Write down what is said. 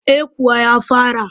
Eh kuwa ya fara